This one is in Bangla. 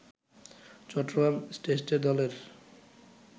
চট্টগ্রাম টেস্টের দলের